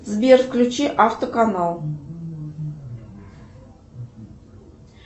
сбер включи автоканал